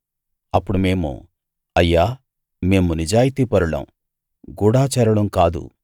అప్పుడు మేము అయ్యా మేము నిజాయితీపరులం గూఢచారులం కాదు